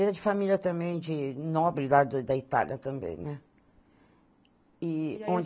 Era de família também, de nobre, lá da da Itália também, né? E